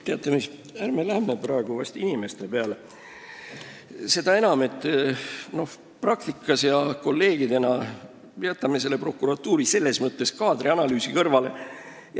Teate mis, ärme läheme praegu inimeste peale – jätame praktikas ja kolleegidena prokuratuuri kaadri analüüsi kõrvale.